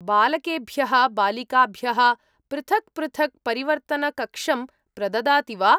बालकेभ्यः बालिकाभ्यः पृथक् पृथक् परिवर्तनकक्षं प्रददाति वा?